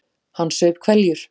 Hann saup hveljur.